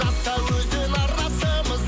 асау өзен арнасымыз